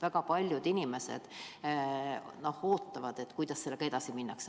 Väga paljud inimesed ootavad, kuidas sellega edasi minnakse.